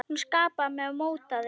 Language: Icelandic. Hún skapaði mig og mótaði.